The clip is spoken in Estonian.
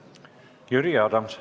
Jüri Adams.